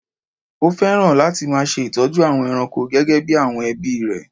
Ó fẹ́ràn láti máa ṣe ìtọ́jú àwọn ẹranko gẹ́gẹ́ bí àwọn ẹbí rẹ̀